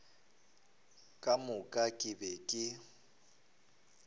ka moka ke be ke